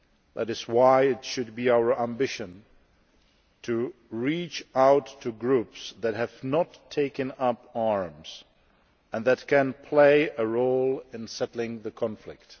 That it is why it should be our ambition to reach out to groups that have not taken up arms and can play a role in settling the conflict.